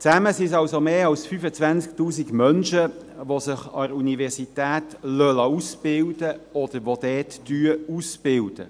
Zusammen sind es also mehr als 25 000 Menschen, die sich an der Universität ausbilden lassen oder dort ausbilden.